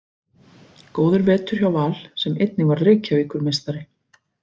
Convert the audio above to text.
Góður vetur hjá Val sem einnig varð Reykjavíkurmeistari.